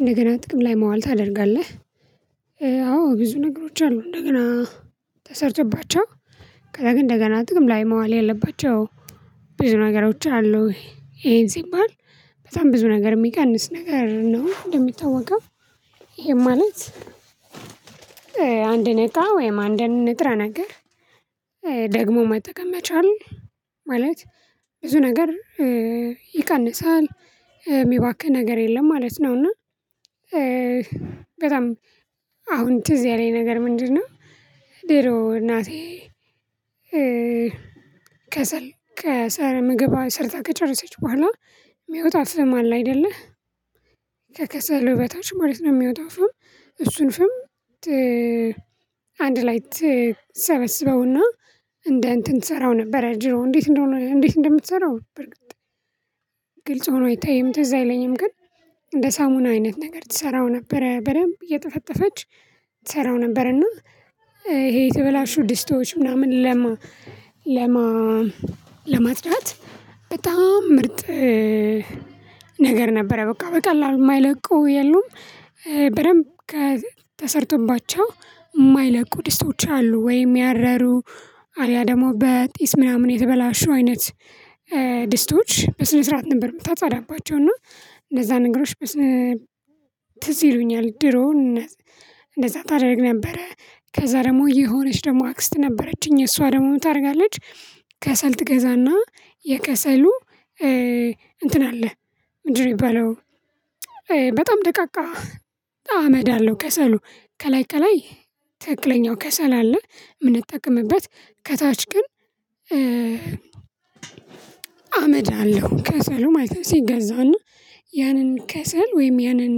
እንደገና ጥቅም ላይ መዋል ታደርጋለህ? አዎ ብዙ ነገሮች አሉ እንደገና ተሰርተባቸው ከዛ ግን እንደገና ጥቅም ላይ መዋል ያለባቸው ብዙ ነገሮች አሉ። ይሄን ሲባል በጣም ብዙ ነገር የሚቀንስ ነገር ነው እንደሚታወቀው ይሄ ማለት አንድ እቃ ወይም አንድ ንጥረ ነገር ደግሞ መጠቀም መቻል ማለት ብዙ ነገር ይቀንሳል የሚባክን ነገር የለም ማለት ነው። እና በጣም አሁን ትዝ ያለኝ ነገር ምንድነው ድሮ እናቴ ከሰል ከሰር ምግብ ሰርታ ከጨረሰች በኋላ የሚወጣ ፍም አለ አይደለ ከከሰሉው በታች ማለት ነው የሚወጣው ፍም እሱን ፍም አንድ ላይ ትሰበስበውና እንደ እንትን ትሰራው ነበር እንዴት እንደሆነ እንዴት እንደምትሰራው በርግጥ ግልጽ ሆኖ አይታይም ትዝ አይለኝም ግን እንደ ሳሙና አይነት ነገር ትሰራው ነበረ። በደንብ እየጠፈጠፈች ትሰራው ነበር እና ይሄ የተበላሹ ድስቶች ምናምን ለማ ለማ ለማጽዳት በጣም ምርጥ ነገር ነበረ በቃ በቀላሉ የማይለቀው የሉም በደንብ ከ ተሰርቶባቸው የማይለቁ ድስቶች አሉ ወይም ያረሩ አልያ ደግሞ በጢስ ምናምን የተበላሹ አይነት ድስቶች በስነ ስርዓት ነበር የምታጻዳባቸው እና እንደዛ ነገሮች በስን ትዝ ይሉኛል ድሮውን እንደዛ ታደርግ ነበረ። ከዛ ደግሞ የሆነች ደግሞ አክስት ነበረችኝ እሷ ደግሞ ምን ታደርጋለች ከሰል ትገዛና የከሰሉ እንትን አለ ምንድነው የሚባለው በጣም ደቃቃ አመድ አለው ከሰሉ ከላይ ከላይ ትክክለኛው ከሰል አለ የምንጠቀምበት ከታች ግን አመድ አለው ከሰሉ ማለት ነው ሲገዛና ያንን ከሰል ወይም ያንን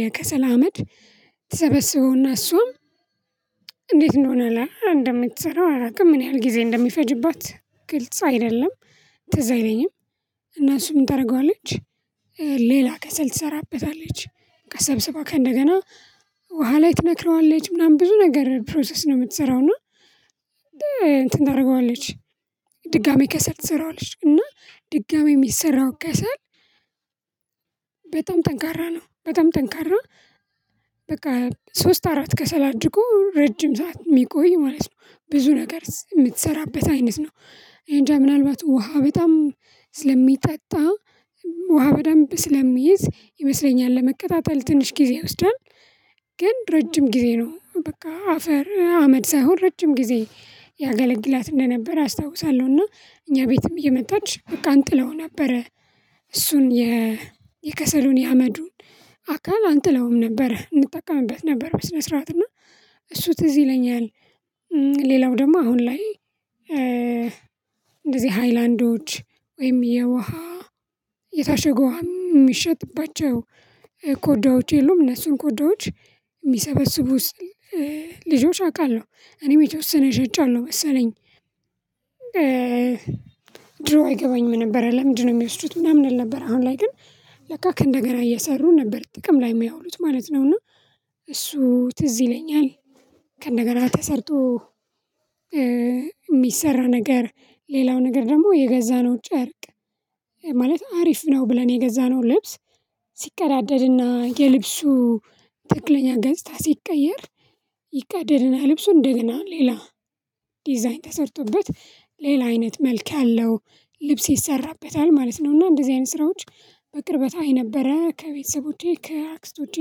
የከሰል አመድ ትሰበስበውና እሱም እንዴት እንደሆነ እንደምትሰራው አላውቅም ምን ያህል ጊዜ እንደሚፈጅባት ግልጽ አይደለም ትዝ አይለኝም እና እሱ ምን ታደርገዋለች ሌላ ከሰል ትሰራበታለች ሰብስባ ከእንደገና ውሃ ላይ ትነክረዋለች ምናምን ብዙ ነገር ፕሮሰስ ነው የምትሰራው እና እንትን ታደርገዋለች ድጋሚ ከሰል ትሰራዋለች። እና ድጋሚ የሚሰራው ከሰል ጠንካራ በቃ ሶስት አራት ከሰል አድርጎ ረጅም ሰዓት የሚቆይ ማለት ነው። ብዙ ነገር የምትሰራበት አይነት ነው እንጃ ምናልባት ውሃ በጣም ስለሚጠጣ ውሃ በጣም ስለሚይዝ ይመስለኛል ለመከታተል ትንሽ ጊዜ ይወስዳል። ግን ረጅም ጊዜ ነው በቃ አፈር አመድ ሳይሆን ረጅም ጊዜ ያገለግላት እንደነበር አስታውሳለሁ። እና እኛ ቤትም እየመጣች በቃ እንጥለው ነበረ። እሱን የ የከሰሉን የአመዱን አካል አንጥለውም ነበር እንጠቀምበት ነበር በስነ ስርዓት እና እሱ ትዝ ይለኛል ሌላው ደግሞ አሁን ላይ ሃይላንዶች ወይም የውሃ የታቸገ ውሃ የሚሸጥባቸው ኮዳዎች የሉም እነሱን ኮዳዎች የሚሰበስቡት ልጆች አቃለሁ። እኔም የተወሰነ ሸጫለሁ መሰለኝ ድሮ አይገባኝም ነበር ለምንድነው የሚወስዱት ምናምን አል ነበረ አሁን ላይ ግን ለቃ ከእንደ ገና እየሰሩ ነበር ጥቅም ላይ የሚያውሉት ማለት ነው። እና እሱ ትዝ ይለኛል ከእንደገና ተሰርቶ የሚሰራ ነገር ሌላው ነገር ደግሞ የገዛነው ጨርቅ ማለት አሪፍ ነው ብለን የገዛነው ልብስ ሲቀዳደድና የልብሱ ተክክለኛ ገጽታ ሲቀየር ይደድና ልብሱ እንደገና ሌላ ዲዛይን ተሰርቶበት ሌላ አይነት መልክ ያለው ልብስ ይሰራበታል ማለት ነው። እና እንደዚህ አይነት ስራዎች በቅርበት አይ ነበረ ከቤተሰቦቼ ከአክስቶቼ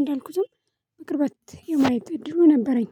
እንዳልኩትም በቅርበት የማየት እድሉ ነበረኝ